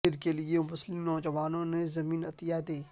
مندر کے لئے مسلم نوجوان نے زمین عطیہ دی